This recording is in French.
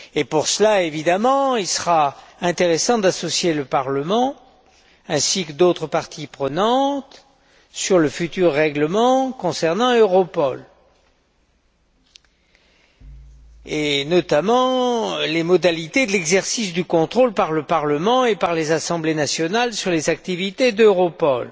Pour cela, il sera intéressant d'associer le Parlement ainsi que d'autres parties prenantes à l'élaboration du futur règlement concernant Europol, et notamment en ce qui concerne les modalités de l'exercice du contrôle par le Parlement et par les assemblées nationales sur les activités d'Europol.